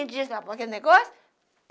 Me diz lá para aquele negócio.